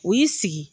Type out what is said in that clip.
U y'i sigi